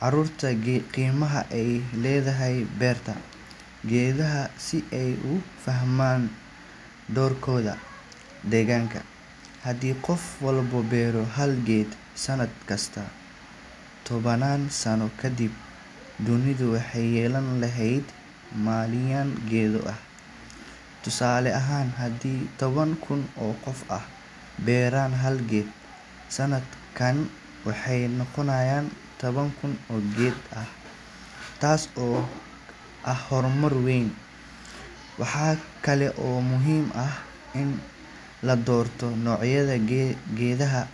carruurta qiimaha ay leedahay beerta geedaha, si ay u fahmaan doorkooda deegaanka. Haddii qof walba beero hal geed sanad kasta, tobanaan sano kadib, dunidu waxay yeelan lahayd malaayiin geedo ah. Tusaale ahaan, haddii toban kun oo qof ay beeraan hal geed sannadkan, waxay noqonayaan toban kun oo geed – taas oo ah horumar weyn. Waxa kale oo muhiim ah in la doorto noocyada geedaha.